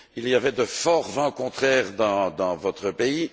Il y avait de forts vents contraires dans votre pays.